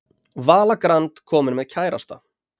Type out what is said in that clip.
Vala Grand komin með kærasta